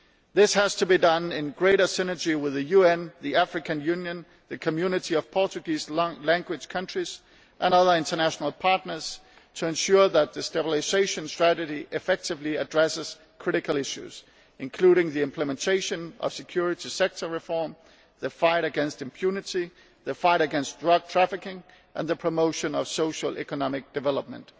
This has to be done in greater synergy with the UN, the African Union, the Community of Portuguese Language Countries and other international partners in order to ensure that the stabilisation strategy effectively addresses critical issues, including the implementation of security sector reform, the fight against impunity, the fight against drug trafficking and the promotion of social and economic development.